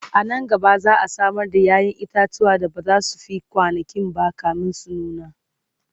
anan gaba za'a Samar da yayan itatuwa da bazasu Fi kwanankinba kamin su nuna